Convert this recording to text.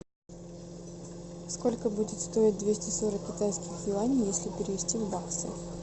сколько будет стоить двести сорок китайских юаней если перевести в баксы